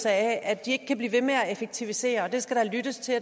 af at de ikke kan blive ved med at effektivisere det skal der lyttes til